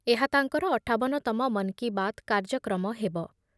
ଏହା ତାଙ୍କର ଅଠାବନ ତମ ମନ୍ କି ବାତ୍ କାର୍ଯ୍ୟକ୍ରମ ହେବ ।